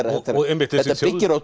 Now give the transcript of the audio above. byggir á